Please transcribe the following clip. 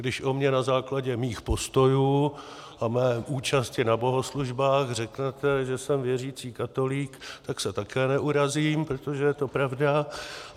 Když o mně na základě mých postojů a mé účasti na bohoslužbách řeknete, že jsem věřící katolík, tak se také neurazím, protože je to pravda.